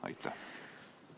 Aitäh!